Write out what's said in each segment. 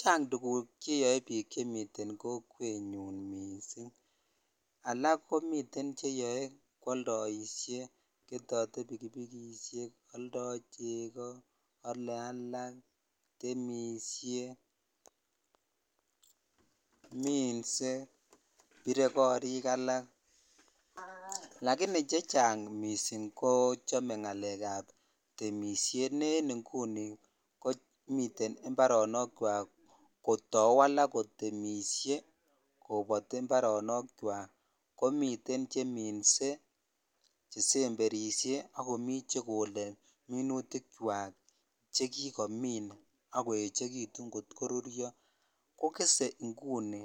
Chang tuguk cheyoe biik chemiten kokwenyun mising. Alak komiten kwaldoisie, ketote bikibikisiek, aldo chego, ale alak, temisie, minse, bire korik alak. Lagini chechang mising ko chame ngalekab temisiet ne en inguni komiten imbaronokwak kotau alak kotemisie kobati imboronokywak. Komiten che minse, chesemberisie ak komi chegole minutikyak chekikomin ak koechekitun kot korurio. Ko kese inguni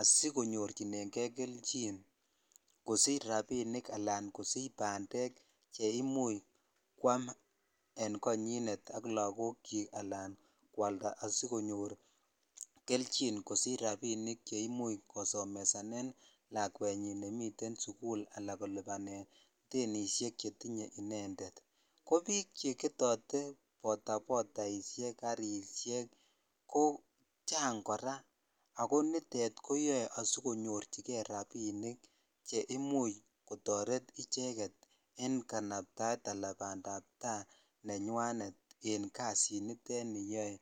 asikonyorchinenge kelchin kosich rapinik anan kosich bandek cheimuch kwam en konyinet ak lagokyik anan kwalda asikonyor keljin asikosich rapinik che imuch kosomesanen lakwenyin ne miten sukul anan kolubanen denisiek chetinye inendet. Ko biik cheketote botabotaisiek, karisiek ko chang kora ago nitet koyae asikonyorchige rapinik che imuch kotaret icheget en kanaptaet anan bandab ta nenywanet en kasit nitet neyoe.